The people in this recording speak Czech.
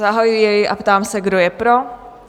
Zahajuji jej a ptám se, kdo je pro?